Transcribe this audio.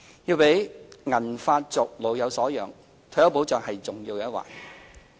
要讓"銀髮族"老有所養，退休保障是重要的一環。